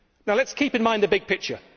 Let us keep in mind the big picture.